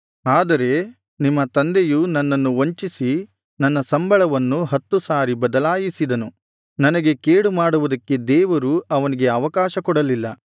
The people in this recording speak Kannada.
ಆದರೆ ನಿಮ್ಮ ತಂದೆಯು ನನ್ನನ್ನು ವಂಚಿಸಿ ನನ್ನ ಸಂಬಳವನ್ನು ಹತ್ತು ಸಾರಿ ಬದಲಾಯಿಸಿದನು ನನಗೆ ಕೇಡುಮಾಡುವುದಕ್ಕೆ ದೇವರು ಅವನಿಗೆ ಅವಕಾಶಕೊಡಲಿಲ್ಲ